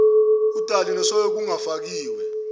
udali nesoy okungafakiwe